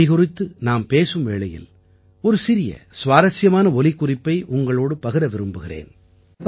மொழி குறித்து நாம் பேசும் வேளையில் ஒரு சிறிய சுவாரசியமான ஒலிக்குறிப்பை உங்களோடு பகிர விரும்புகிறேன்